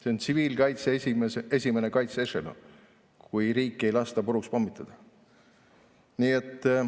See on tsiviilkaitse esimene ešelon, kui riiki ei lasta puruks pommitada.